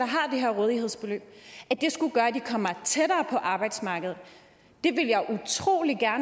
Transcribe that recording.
her rådighedsbeløb skulle komme tættere på arbejdsmarkedet ved